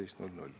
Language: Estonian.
Aitäh!